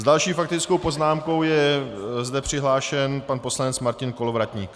S další faktickou poznámkou je zde přihlášen pan poslanec Martin Kolovratník.